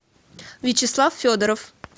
вячеслав федоров